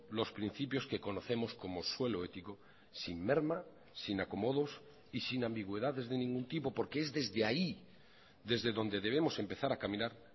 los principios que conocemos como suelo ético sin merma sin acomodos y sin ambigüedades de ningún tipo porque es desde ahí desde donde debemos empezar a caminar